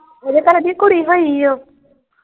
ਓਹਦੇ ਘਰ ਕੁੜੀ ਹੋਈ ਓ।